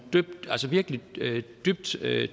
dybt